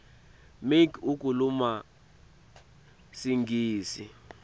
make ukhuluma singisi